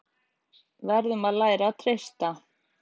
Verðum að læra að treysta